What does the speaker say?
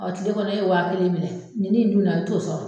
Ɔ kile kɔnɔ e ye waa kelen minɛ, ni ne ye min minɛ a t'ɔ sɔrɔ.